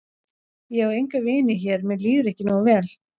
Ég á enga vini hér mér líður ekki nógu vel.